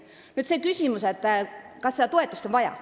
Nüüd küsimus, kas seda toetust on vaja.